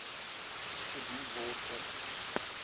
gedoen word om